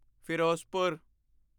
Firozpur